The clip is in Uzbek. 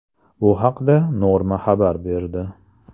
Bu haqda Norma xabar berdi.